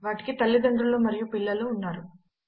వాటికి తల్లిదండ్రులు మరియు పిల్లలు ఉన్నారు